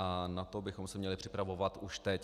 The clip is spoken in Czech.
A na to bychom se měli připravovat už teď.